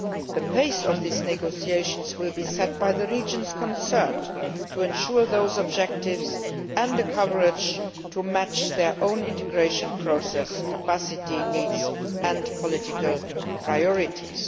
The pace of these negotiations will be set by the regions concerned to ensure those objectives and coverage match their own integration processes, capacity, needs and political priorities.